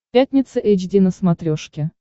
пятница эйч ди на смотрешке